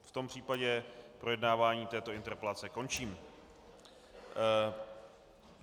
V tom případě projednávání této interpelace končím.